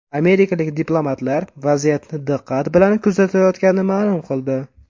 Amerikalik diplomatlar vaziyatni diqqat bilan kuzatayotganini ma’lum qildi.